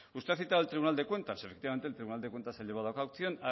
usted cita al tribunal de cuentas efectivamente el tribunal de cuentas ha llevado a cabo